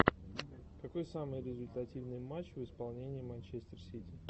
какой самый результативный матч в исполнении манчестер сити